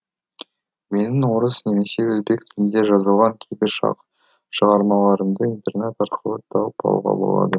менің орыс немесе өзбек тілінде жазылған кейбір шығармаларымды интернет арқылы тауып алуға болады